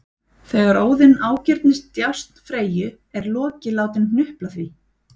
Þegar Óðinn ágirnist djásn Freyju er Loki látinn hnupla því